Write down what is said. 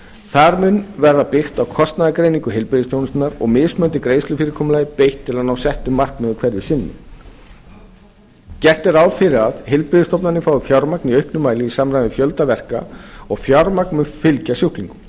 þar mun verða byggt á kostnaðargreiningu heilbrigðisþjónustunnar og mismunandi greiðslufyrirkomulagi beitt til að ná settu markmiði hverju sinni gert er ráð fyrir að heilbrigðisstofnanir fái fjármagn í auknum mæli í samræmi við fjölda verka og fjármagn mun fylgja sjúklingum